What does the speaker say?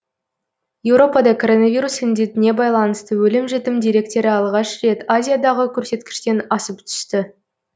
еуропада коронавирус індетіне байланысты өлім жітім деректері алғаш рет азиядағы көрсеткіштен асып түсті